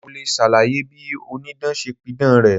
Mo le ṣàlàyé bí Onídán ṣe pidàn rẹ̀.